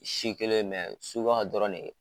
Si kelen ye suguya dɔrɔn de ye.